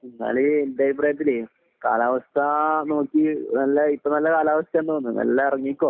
എന്നാൽ എന്റെ അഭിപ്രായത്തിൽ കാലാവസ്ഥ നോക്കി ഇപ്പം നല്ല കാലാവസ്ഥയാണെന്ന് തോന്നുന്നു മെല്ലെ ഇറങ്ങിക്കോ